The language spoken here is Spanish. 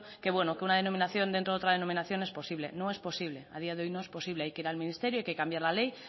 que bueno que una denominación dentro de otra denominación es posible no es posible a día de hoy no es posible hay que ir al ministerio hay que cambiar la ley